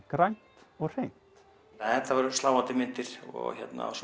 grænt og hreint þetta voru sláandi myndir og